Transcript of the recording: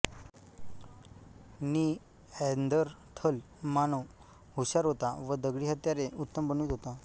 Neanderthal मानव हुषार होता व दगडी हत्यारे उत्तम बनवीत होता